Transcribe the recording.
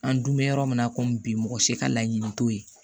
An dun bɛ yɔrɔ min na komi bi mɔgɔ si ka laɲini t'o ye